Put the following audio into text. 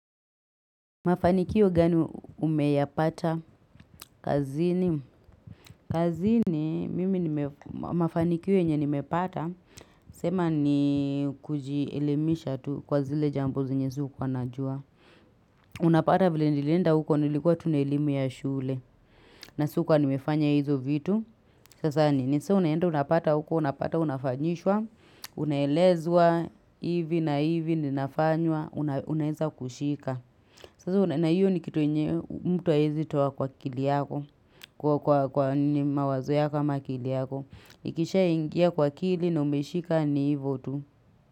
Mafanikio gani umeyapata? Kazini, mafanikio yenyenimepata, sema ni kujielimisha tu kwa zile jambo zenye sukuanajua. Unapata vile nilinda huko nilikuwa tu na elimu ya shule. Na sikuwanimefanya hizo vitu. Sasa ni sio unaenda, unapata huko, unapata, unafanyishwa, unaelezwa, hivi na hivi, ninafanywa, unaeza kushika. Na hiyo ni kitu yenye mtu hawezi toa kwa kili yako, kwa mawazo ya kama kili yako. Ikishaingia kwa kili na umeshika ni hivyo tu.